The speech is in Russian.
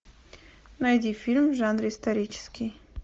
найди фильм в жанре исторический